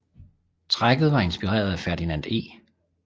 Trækket var inspireret af Ferdinand E